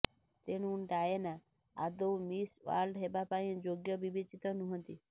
ତେଣୁ ଡାଏନା ଆଦୌ Miss World ହେବାପାଇଁ ଯୋଗ୍ୟ ବିବେଚିତ ନୁହନ୍ତି